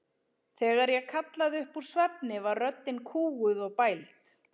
Þegar ég kallaði upp úr svefni var röddin kúguð og bæld.